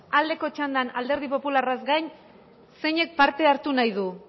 aldeko txandan alderdi popularraz gain zeinek parte hartu nahi du